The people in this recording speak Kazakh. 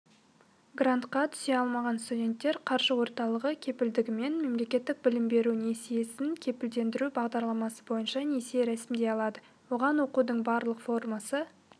грантқа түсе алмаған студенттер қаржы орталығы кепілдігімен мемлекеттік білім беру несиесін кепілдендіру бағдарламасы бойынша несие рәсімдей алады оған оқудың барлық формасы